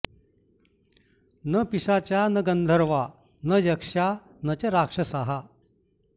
न पिशाचा न गन्धर्वा न यक्षा न च राक्षसाः